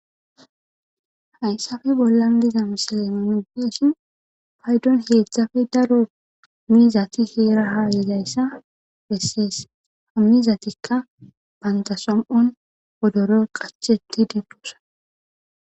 Hayssafe bollan dizamsilemonideeshin paydon heedzdzafe daro mizati heeraha yidayssa bessees hammizatikka bantasom'on odoro qacheti dibdoosa.